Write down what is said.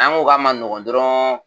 N'an ko k'a ma nɔgɔn dɔrɔnw